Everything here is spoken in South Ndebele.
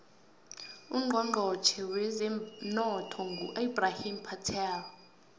ucnchonchotjhe wezemnotho ngu ebrahim patel